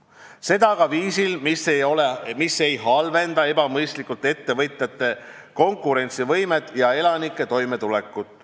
Seda aga viisil, mis ei halvenda ebamõistlikult ettevõtjate konkurentsivõimet ega elanike toimetulekut.